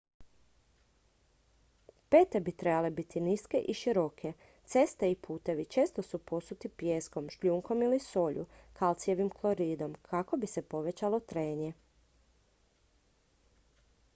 pete bi trebale biti niske i široke. ceste i putevi često su posuti pijeskom šljunkom ili solju kalcijevim kloridom kako bi se povećalo trenje